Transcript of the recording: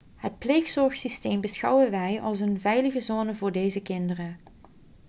het pleegzorgsysteem beschouwen wij als een veilige zone voor deze kinderen